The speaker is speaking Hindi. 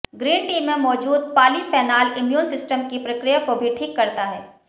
ग्रीन टी में मौजूद पालीफेनाल इम्यून सिस्टम की प्रक्रिया को भी ठीक करता है